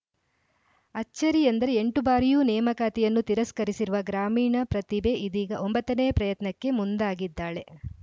ಅಚ್ಚರಿಯೆಂದರೆ ಎಂಟು ಬಾರಿಯೂ ನೇಮಕಾತಿಯನ್ನು ತಿರಸ್ಕರಿಸಿರುವ ಗ್ರಾಮೀಣ ಪ್ರತಿಭೆ ಇದೀಗ ಒಂಬತ್ತ ನೇ ಪ್ರಯತ್ನಕ್ಕೆ ಮುಂದಾಗಿದ್ದಾಳೆ